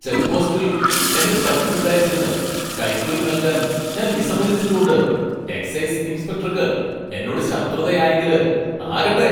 ചെക്ക്പോസ്റ്റിൽ എന്റെ ട്രക്ക് വിട്ടയച്ചതിന് കൈക്കൂലി നൽകാൻ ഞാൻ വിസമ്മതിച്ചതുകൊണ്ട് എക്സൈസ് ഇൻസ്പെക്ടർക്ക് എന്നോട് ശത്രുതയായെങ്കില് ആകട്ടെ.